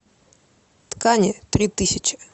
ткани три тысячи